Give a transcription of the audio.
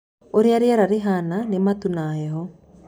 ũrĩa riera rĩhana nĩ matu na heho.